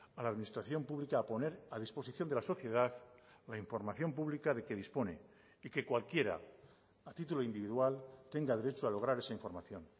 a la administración pública a poner a disposición de la sociedad la información pública de que dispone y que cualquiera a título individual tenga derecho a lograr esa información